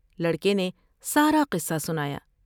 لڑکے نے سارا قصہ سنایا ۔